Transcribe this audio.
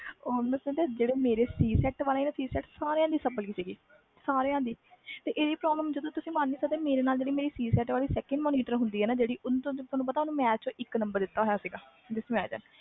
all mostly ਜਿਹੜੇ c set ਵਾਲੇ ਸੀ ਸਾਰਿਆਂ ਦੀ sapply ਸੀ ਇਹ problem ਤੁਸੀ ਮਨ ਨਹੀਂ ਸਕਦੇ ਮੇਰੇ ਨਾਲ ਜਿਹੜੀ monitor ਹੁੰਦੀ ਸੀ ਨਾ ਓਹਨੂੰ ਇਕ ਨੰਬਰ ਦਿੱਤੋ ਸੀ